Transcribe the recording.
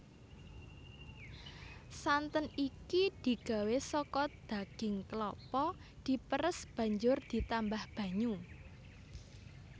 Santen iki digawé saka daging klapa diperes banjur ditambah banyu